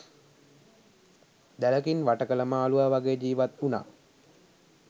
දැලකින් වට කළ මාළුවා වගේ ජීවත් වුණා